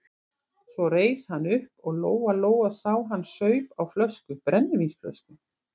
Svo reis hann upp og Lóa-Lóa sá að hann saup á flösku, brennivínsflösku.